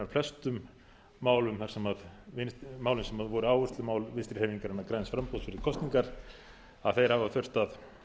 flestum málum sem voru áherslumál vinstri hreyfingarinnar græns framboðs fyrir kosningar að þeir hafa þurft að